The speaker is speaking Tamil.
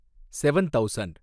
seven thousand